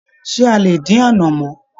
Ṣe a lè dín anamọ?